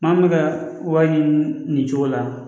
Maa min bɛ ka wari ɲini nin cogo la